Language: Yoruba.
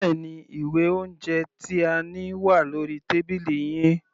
Bẹ́ẹ̀ni, ìwé oúnjẹ tí a ní wà lórí tábìlì yín.